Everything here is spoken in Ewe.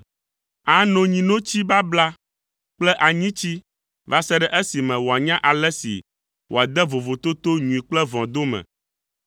Ano nyinotsi babla kple anyitsi va se ɖe esime wòanya ale si wòade vovototo nyui kple vɔ̃ dome,